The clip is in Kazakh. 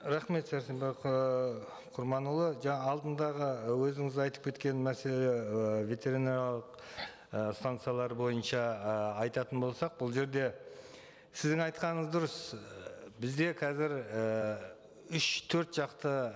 рахмет сәрсенбай құрманұлы алдындағы өзіңіз айтып кеткен мәселе і ветеринариялық і станциялар бойынша і айтатын болсақ бұл жерде сіздің айтқаныңыз дұрыс і бізде қазір ііі үш төрт жақты